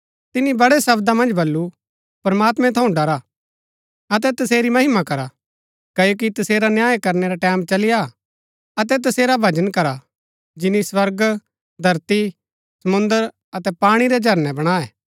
तिनी बड़ै शब्दा मन्ज बल्लू प्रमात्मैं थऊँ डरा अतै तसेरी महिमा करा क्ओकि तसेरा न्याय करनै रा टैमं चली आ अतै तसेरा भजन करा जिनी स्वर्ग धरती समुंद्र अतै पाणी रै झरनै बणाऐ